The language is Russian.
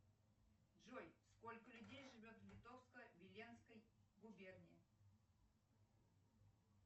джой сколько людей живет в литовско виленской губернии